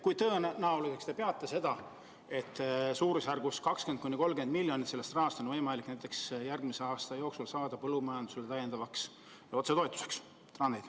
Kui tõenäoliseks te peate, et umbes 20–30 miljonit sellest rahast on võimalik järgmise aasta jooksul suunata näiteks põllumajandusse täiendavaks otsetoetuseks?